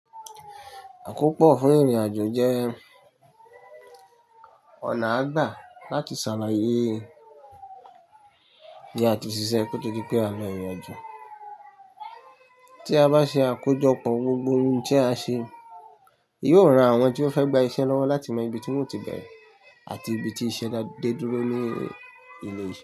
Àkópọ̀ fún ìrìnàjò jẹ́ ọ̀nà àgbà láti ṣàlàyé iye tí a ti ṣiṣẹ́ kí ó tó di pé a lọ ìrìnàjò. Tí a bá ṣe àkójọpọ̀ gbogbo ohun tí a ṣe, yóò ran àwọn tí ó fẹ́ gba iṣẹ́ lọ́wọ́ láti mọ ibi tí wọ́n ti bẹ̀rẹ̀ àti ibi tí iṣẹ́ náà dé dúró ní ìlẹ̀ yìí.